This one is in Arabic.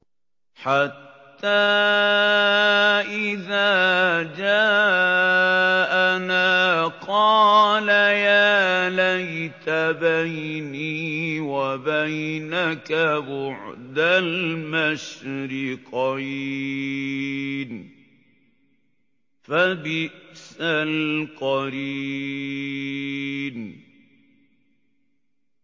حَتَّىٰ إِذَا جَاءَنَا قَالَ يَا لَيْتَ بَيْنِي وَبَيْنَكَ بُعْدَ الْمَشْرِقَيْنِ فَبِئْسَ الْقَرِينُ